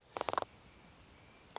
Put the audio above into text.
Otesetai oesio leweneet ab rangiat.